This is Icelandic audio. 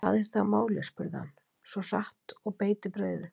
Hvað er þá málið, spurði hann svo hratt og beit í brauðið.